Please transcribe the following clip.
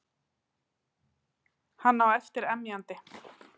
Hann á eftir emjandi.